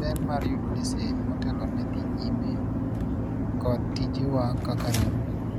ber mar yudo lesen motelo ne dhi nyime kod tijewa kaka riwruok